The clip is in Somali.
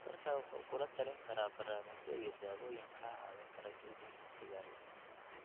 Dhakhtarkaagu wuxuu kugula talin karaa barnaamijyo iyo daawooyin kaa caawin kara joojinta sigaarka.